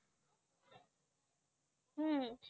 হু